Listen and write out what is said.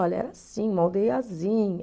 Olha, era assim, uma aldeiazinha.